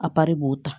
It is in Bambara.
A kari b'o ta